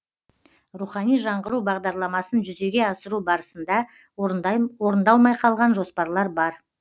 рухани жаңғыру бағдарламасын жүзеге асыру барысында орындалмай қалған жоспарлар бар